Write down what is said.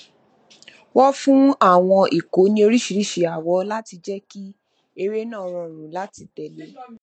wọn fún àwọn ikọ ní oríṣiríṣi àwọ láti jẹ kí eré náà rọrùn láti tẹlé